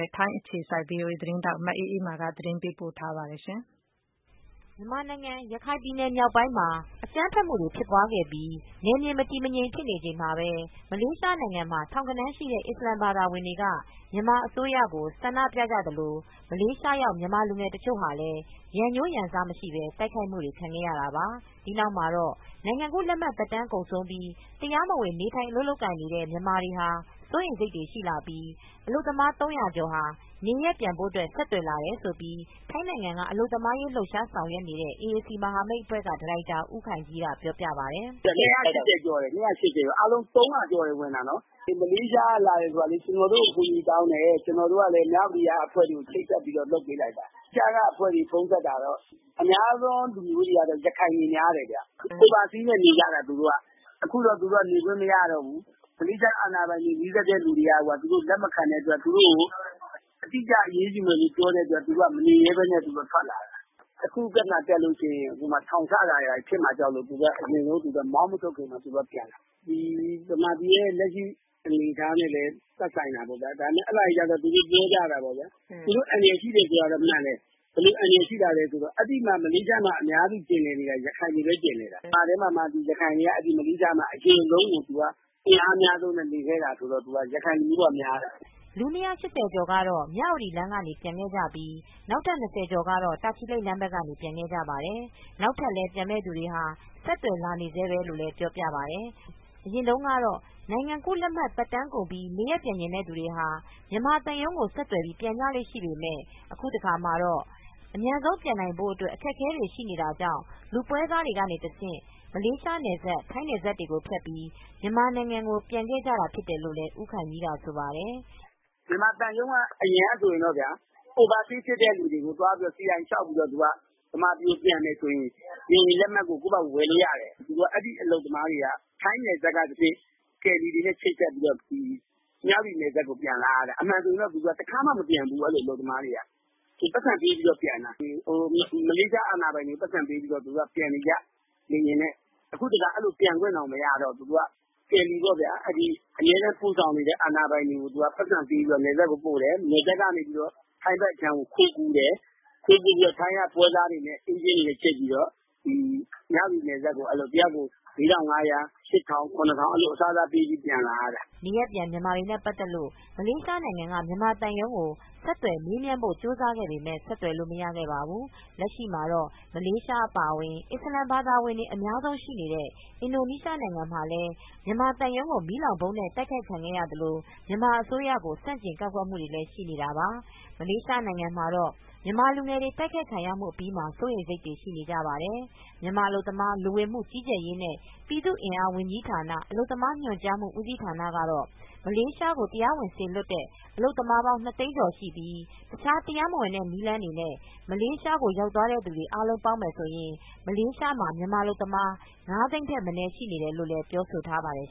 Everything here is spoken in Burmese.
ာ့ ထိုင်းအခြေစိုက် ဗွီအိုအေသတင်းထောက် မအေးအေးမာက သတင်းပေးပို့ထားပါတယ်။ မြန်မာနိုင်ငံရခိုင်ပြည်မြောက်ပိုင်းမှာ အကြမ်းဖက်မူတွေ ဖြစ်ပွားခဲ့ပြီး နယ်မြေမတည်မငြိမ် ဖြစ်နေချိန်မှာပဲ မလေးရှားနိုင်ငံမှာ ထောင်ဂဏန်းရှိတဲ့ အစ္စလာမ်ဘာသာဝင်တွေ က မြန်မာအစိုးရကို ဆန္ဒပြကြသလို မလေးရှားရောက်မြန်မာလူငယ်တချို့ဟာရန်ငြိုးရန်စမရှိပဲ တိုက်ခိုက်မူတွေ ခံခဲ့ရတာပါ။ဒီနောက်မှာတော့ နိုင်ငံကူးလက်မှတ်သက်တမ်းကုန်ဆုံးပြီး တရားမဝင် နေထိုင် အလုပ်အလုပ်ကိုင်နေတဲ့ မြန်မာတွေဟာ စိုးရိမ်စိတ်တွေရှိလာပြီး အလုပ်သမား ၃၀၀ကျော်နေရပ်ကို ပြန်ဖို့ ဆက်သွယ်လာတယ်လို့ ထိုင်းနိုင်ငံက အလုပ်သမားအရေး လှုပ်ရှားဆောင်ရွက်နေတဲ့ အေအေစီ မဟာမိတ်အဖွဲ့က ဒါရိုက်တာဦးခိုင်ကြီးကပြောပြပါတယ်။ “၂၈၀ ကျော်ဝင်တယ် ၊ ဒါပေမယ့် အားလုံး ၃၀၀ ကျော်တယ်ဝင်တာနော် ဒီမလေးရှားက လာတဲ့လူတွေက ကျနော်တို့ကို အကူအညီတောင်းတယ်။ ကျနော်တို့ကလည်း မြဝတီကအဖွဲ့တွေကို ချိတ်ဆက်ပြီးတော့ လုပ်ပေးလိုက်တာ။ သုံးသပ်တာကတော့ အများဆုံးကတော့ ရခိုင်လူမျိုးတွေ များတယ်ခင်ဗျ Overstay နဲ့နေကြတာ သူတို့က အခုတော့ သူတို့က နေခွင့်မရတော့ဘူး။ မလေးရှား အာဏာပိုင်တွေ နီးစပ်တဲ့လူတွေက သူတို့လက်မခံတဲ့အတွက် သူတို့ကို အတိအကျ အရေးယူမယ်လို့ ပြောတဲ့အတွက် သူတို့က မနေရဲပဲနဲ့ သူတို့ကထွက်လာတာ။ တခုခုပြဿနာတက်ရင် ထောင်ချတာတွေ ဘာတွေဖြစ်မှာ ကြောက်လို့ အရင်ဆုံးမောင်းမထုတ်ခင်မှာသူတို့ကပြန်တာ။ မြန်မာပြည်ရဲ့ လက်ရှိအနေအထားနဲ့လည်း သက်ဆိုင်တာပေါ့ခင်ဗျ၊ ဒါပေမယ့် အဲဒါကြီးကတော့ သူတို့ပြောကြတာပေါ့ ခင်ဗျ သူတို့အန္တရာယ်ရှိတယ်ဆိုတာကတော့ မှန်တယ်၊ ဘယ်လိုအန္တရာယ်ရှိတာလဲဆိုတော့ အဲဒီမလေးရှားမှာ အများစုကျင်လည်နေတာက ရခိုင်တွေပဲ ကျင်လည်နေတာ။ ရခိုင်တွေက မလေးရှားမှာ အကြာဆုံး၊ အင်အားအများဆုံးနဲ့ နေခဲ့တာဆိုတော့ ရခိုင်လူဦးရေကများတယ်။” လူ၂၈၀ကျော်ကတော့ မြဝတီမြို့လမ်းကနေ ပြန်ကြပြီး နောက်ထပ် ၂၀ကျော်ကတော့ တာချီလိတ်လမ်းဘက်ကနေ ပြန်ခဲ့ကြပါတယ်။ နောက်ထပ်လည်းပြန်မယ့် သူတွေဟာ ဆက်သွယ်လာနေဆဲပဲလို့ ဆိုပါတယ်။ အရင်တုန်းကတော့ နိုင်ငံကူးလက်မှတ်သက်တမ်းကုန်ပြီး နေရပ်ပြန်ချင်တဲ့ သူတွေဟာမြန်မာသံရုံးကိုဆက်သွယ်ပြီး ပြန်ကြလေ့ရှိပေမယ့် အခုတခါမှာတော့ အမြန်ဆုံးပြန်နိုင်ဖို့ အတွက်အခက်အခဲတွေရှိတာကြောင့် လူူပွဲစားတွေတဆင့် မလေးနယ်စပ် ထိုင်းနယ်စပ်ကိုဖြတ်ပြီး မြန်မာနိုင်ငံကိုပြန်ခဲ့ကြတာဖြစ်တယ်လို့လည်း ဦးခိုင်ကြီးကဆိုပါတယ်။ “မြန်မာသံရုံးကအရင်ကဆိုရင်တော့ဗျာ Overstay ဖြစ်တဲ့လူတွေကို အရင်ဆုံး CI လျှောက်ပြီးတော့ မြန်မာပြည်ကိုပြန်မယ်ဆိုရင် လေယာဉ်လက်မှတ်ကို ကိုယ့်ဟာကိုဝယ်လို့ရတယ်။ ဆိုတော့ အဲဒီအလုပ်သမားတွေက ထိုင်းနယ်စပ်ကတဆင့် ကယ်ရီတွေနဲ့ ချိတ်ဆက်ပြီးတော့ မြဝတီနယ်စပ်ကိုပြန်လာတယ်။ အမှန်ဆိုရင်တော့ သူတို့ တခါမှ မပြန်ဖူးဘူး အဲဒီအလုပ်သမားတွေက ပိုက်ဆံပေးပြီးတော့ ပြန်တာ မလေးရှားအာဏာပိုင်တွေကို ပိုက်ဆံပေးပြီးတော့ ပြန်နေကြ လေယာဉ်နဲ့ အခုတခါ အဲလိုပြန်ခွင့်တောင်မရတော့ဘူး carry ပေါ့ဗျာ။ အမြဲတမ်းပို့ဆောင်နေတဲ့ အာဏာပိုင်တွေကို သူကပိုက်ဆံပေးပြီးတော့ နယ်စပ်ကိုပို့တယ်၊ နယ်စပ်ကနေပြီးတော့ ထိုင်းဘက်အခြမ်းကို ခိုးကူးတယ်၊ ခိုးကူးပြီးတော့ ထိုင်းပွဲစားတွေနဲ့ အေးဂျင့်တွေနဲ့ ချိတ်ပြီးတော့ မြဝတီနယ်စပ်ကို တယောက်ကို ၄၅၀၀ ၊ ၈၀၀၀၊ ၇၀၀၀ အစားစားပေးပြီး ပြန်လာရတာ။” နေရပ်ပြန်မြန်မာတွေနဲ့ ပတ်သက်လို့မလေးရှားနိုင်ငံက မြန်မာသံရုံးကို ဆက်သွယ်မေးမြန်းဖို့ ကြိုးစားခဲ့ပေမယ့် ဆက်သွယ်လို့မရခဲ့ပါဘူး။ လက်ရှိမှာတော့ မလေးရှား အပါအဝင် အစ္စလာမ်ဘာသာဝင်တွေ အများဆုံးရှိနေတဲ့ အင်ဒိုနီးရှားနိုင်ငံမှာလည်း မြန်မာသံရုံးကို မီးလောင်ဗုံးနဲ့ တိုက်ခိုက်ခံရသလို မြန်မာအစိုးရကို ဆန်ကျင်ကန့်ကွက်မူတွေလည်း ရှိနေတာပါ။ မလေးရှားနိုင်ငံမှာတော့ မြန်မာလူငယ်တွေတိုက်ခိုက်ခံရမူအပြီးမှာ စိုးရိမ်စိတ်တွေ ရှိနေကြပါတယ်။ မြန်မာ အလုပ်သမားလူဝင်မူကြီးကြပ်ရေးနဲ့ ပြည်သူအင်အားဝန်ကြီးဌာန အလုပ်သမားညွန်ကြားမှူး ဦးစီးဌာနကတော့ မလေးရှားကို တရားဝင်စေလွတ်တဲ့အလုပ်သမားပေါင်း ၂သိန်းကျော်ရှိပြီးတခြားတရားမဝင်တဲ့ နည်းလမ်းတွေနဲ့ မလေးရှားကို ရောက်သွားသူ အားလုံးပေါင်းရင် မလေးရှားမှာ မြန်မာအလုပ်သမား ၅သိန်း ထက်မနည်းရှိနေတယ်လို ပြောဆိုထားပါတယ်